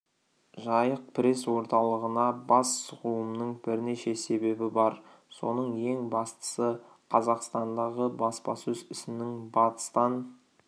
жайық пресс орталығына бас сұғуымның бірнеше себебі бар соның ең бастысы қазақстандағы баспасөз ісінің батыстан